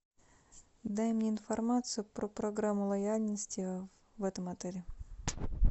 дай мне информацию про программу лояльности в этом отеле